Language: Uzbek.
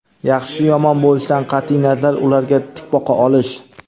yaxshi yomon bo‘lishidan qatʼiy nazar ularga tik boqa olish.